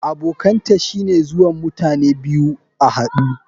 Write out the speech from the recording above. Abokanta shine zuwan mutane biyu a hadu.